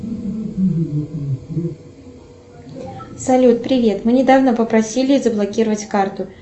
салют привет мы недавно попросили заблокировать карту